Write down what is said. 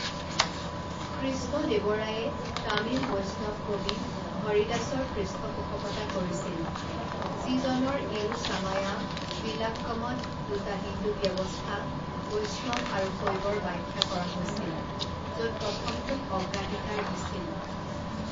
কৃষ্ণদেৱৰায়ে তামিল বৈষ্ণব কবি হৰিদাসৰ পৃষ্ঠপোষকতা কৰিছিল, যিজনৰ ইৰুসামায়া বিলাক্কমত দুটা হিন্দু ব্যৱস্থা, বৈষ্ণৱ আৰু শৈৱৰ ব্যাখ্যা কৰা হৈছিল, য'ত প্ৰথমটোক অগ্ৰাধিকাৰ দিছিল।